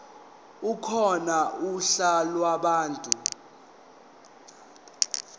ekhona uhla lwabantu